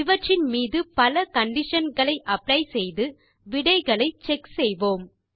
இவற்றின் மீது பல கண்டிஷன் களை அப்ளை செய்து விடைகளை செக் செய்வோம்